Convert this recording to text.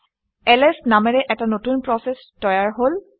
LS নামেৰে এটা নতুন প্ৰচেচ তৈয়াৰ হল